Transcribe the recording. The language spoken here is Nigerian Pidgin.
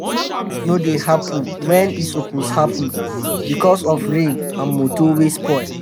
sometimes harvest no dey happen wen e suppose happen becos of rain and moto wey spoil.